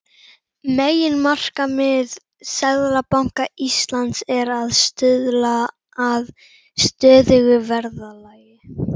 Meginmarkmið Seðlabanka Íslands er að stuðla að stöðugu verðlagi.